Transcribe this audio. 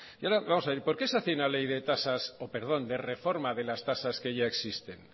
hace ahora vamos a ver por qué se hace una ley reforma de las tasas que ya existen